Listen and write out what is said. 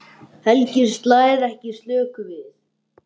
Helgi slær ekki slöku við.